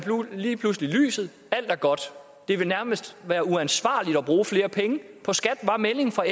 lige pludselig lyset alt er godt det vil nærmest være uansvarligt at bruge flere penge på skat var meldingen fra